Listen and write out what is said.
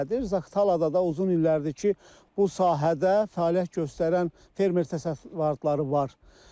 Zaqatalada da uzun illərdir ki, bu sahədə fəaliyyət göstərən fermer təsərrüfatları var.